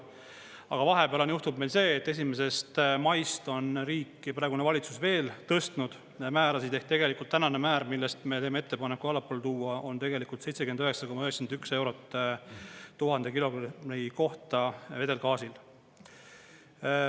Aga vahepeal on juhtunud see, et 1. maist on riik ja praegune valitsus veel tõstnud määrasid ehk tegelikult tänane määr, millest me teeme ettepaneku allapoole tuua, on 79,91 eurot 1000 kilogrammi kohta vedelgaasil.